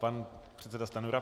Pan předseda Stanjura.